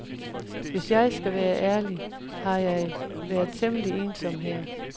Hvis jeg skal være ærlig, har jeg været temmelig ensom her.